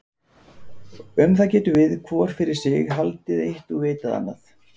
Um það getum við, hvor fyrir sig, haldið eitt og vitað annað.